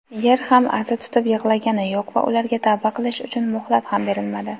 Yer ham (aza tutib) "yig‘lagani" yo‘q va ularga (tavba qilish uchun) muhlat ham berilmadi.